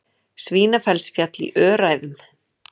Svínafellsfjall í Öræfum.